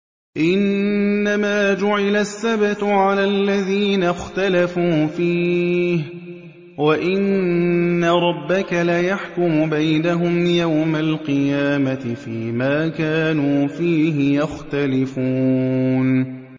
إِنَّمَا جُعِلَ السَّبْتُ عَلَى الَّذِينَ اخْتَلَفُوا فِيهِ ۚ وَإِنَّ رَبَّكَ لَيَحْكُمُ بَيْنَهُمْ يَوْمَ الْقِيَامَةِ فِيمَا كَانُوا فِيهِ يَخْتَلِفُونَ